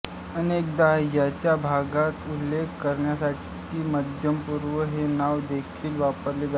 अनेकदा ह्या भागाचा उल्लेख करण्यासाठी मध्यपूर्व हे नाव देखील वापरले जाते